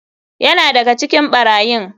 Yana daga cikin barayin.